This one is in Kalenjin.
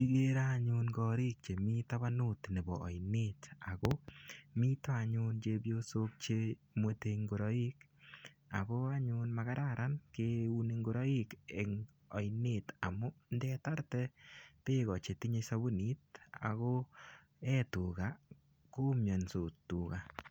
Kigere ayun korik chetabanut nebo ainet ago mito anyun chepyosok che mwete ingoroik ago anyun magararan keuni ingoroik eng oinet amu ndetarte beek chetinye sabunit ago ee tuga, komiansot toga.